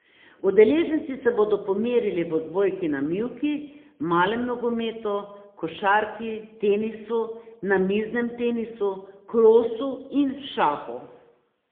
Udeleženci se bodo pomerili v odbojki na mivki, malem nogometu, košarki, tenisu, namiznem tenisu, krosu in šahu.